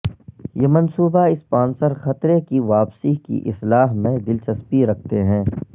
یہ منصوبہ اسپانسر خطرے کی واپسی کی اصلاح میں دلچسپی رکھتے ہیں